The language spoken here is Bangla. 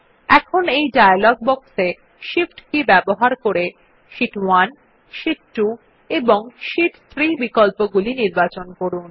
এখন এই ডায়লগ বক্স এ শিফট কী ব্যবহার করে শীট 1 শীট 2 এবং শীট 3 বিকল্প গুলি নির্বাচন করুন